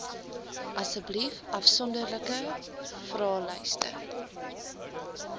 asseblief afsonderlike vraelyste